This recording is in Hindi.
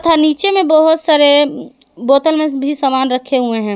नीचे में बहुत सारे बोतल में भी सामान रखे हुए हैं।